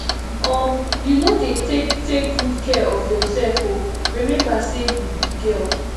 um you no dey take take good care of yourself oo remember say you be girl